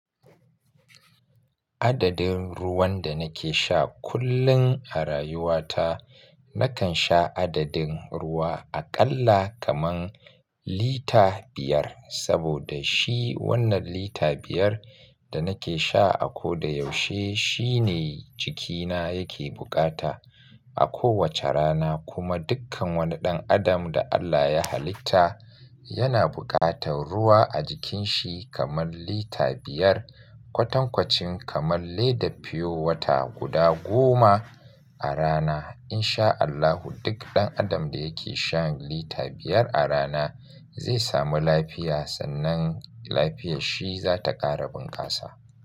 Adadin ruwan da nake sha kullum a rayuwata, nakan sha adadin ruwa aƙalla kaman lita biyar, saboda shi wannan lita biyar da nake sha a koda yaushe shine jikina yake buƙata a kowace rana. Kuma dukkan wani ɗan adam da Allah ya halitta, yana buƙatan ruwa a jikin shi kaman lita biyar, kwatankwacin kaman leda fiyowata guda goma a rana. In sha Allahu duk ɗan adam da yake shan lita biyar a rana zai samu lafiya, sannan lafiyar shi za ta ƙara bunƙasa.